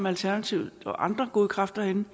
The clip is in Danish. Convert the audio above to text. alternativet og andre gode kræfter herinde